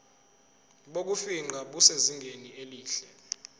bokufingqa busezingeni elihle